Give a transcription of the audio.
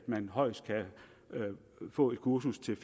man højst kan få et kursus til